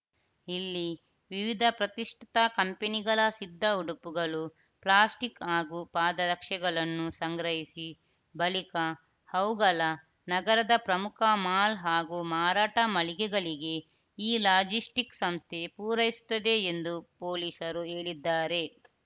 ಇಲ್ಲಿ ವಿವಿಧ ಪ್ರತಿಷ್ಠಿತ ಕಂಪನಿಗಳ ಸಿದ್ಧ ಉಡುಪುಗಳು ಪ್ಲಾಸ್ಟಿಕ್‌ ಹಾಗೂ ಪಾದರಕ್ಷೆಗಳನ್ನು ಸಂಗ್ರಹಿಸಿ ಬಳಿಕ ಅವುಗಳ ನಗರದ ಪ್ರಮುಖ ಮಾಲ್‌ ಹಾಗೂ ಮಾರಾಟ ಮಳಿಗೆಗಳಿಗೆ ಈ ಲಾಜಿಸ್ಟಿಕ್ಸ್‌ ಸಂಸ್ಥೆ ಪೂರೈಸುತ್ತದೆ ಎಂದು ಪೊಲೀಸರು ಹೇಳಿದ್ದಾರೆ